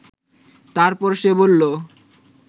তারপর সে বলল